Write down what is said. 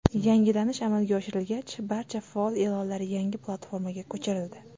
Yangilanish amalga oshirilgach, barcha faol e’lonlar yangi platformaga ko‘chirildi.